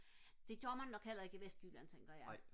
det gør man nok heller ikke i vestjylland tænker jeg